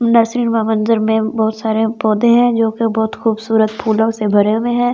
Nursing व बंजर में बहुत सारे पौधे हैं जो कि बहोत खूबसूरत फूलों से भरे हुए है।